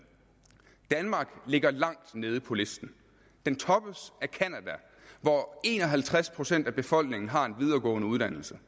danmark ligger langt nede på listen den toppes af canada hvor en og halvtreds procent af befolkningen har en videregående uddannelse